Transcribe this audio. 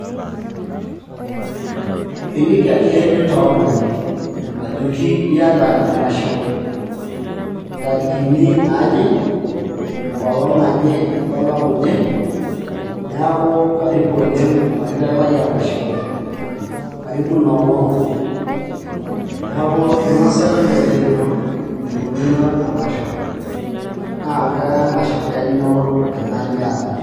Iliki ake nintoomon, ajoki iyata emasho ntarikini naaje, enkolong' naje olapa oje. Neeku karibu oleng' pakiteng' lai emasho. Karibu inoolong'. Neeku inosaki olchere lino enikununo emasho, na kemasho enyoo ena niata.